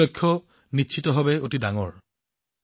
এয়া নিশ্চিতভাৱে ডাঙৰ লক্ষ্য